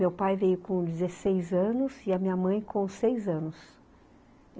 Meu pai veio com dezesseis anos e a minha mãe com seis anos.